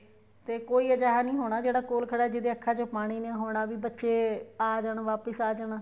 ਤੇ ਕੋਈ ਇਹੇ ਜਾ ਨਹੀਂ ਹੋਣਾ ਜਿਹੜਾ ਕੋਲ ਖੜਾ ਜਿਹਦੀ ਅੱਖਾ ਚੋ ਪਾਣੀ ਨਹੀਂ ਹੋਣਾ ਵੀ ਬੱਚੇ ਆ ਜਾਣ ਵਾਪਿਸ ਆ ਜਾਣ